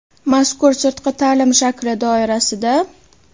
Mazkur sirtqi ta’lim shakli doirasida:.